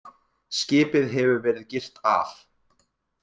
Skipið hefur verið girt af